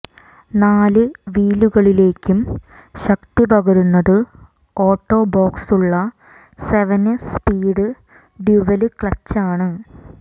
നാല് വീലുകളിലേക്കും ശക്തി പകരുന്നത് ഓട്ടോ ബോക്സുള്ള സെവന് സ്പീഡ് ഡ്യുവല് ക്ലച്ചാണ്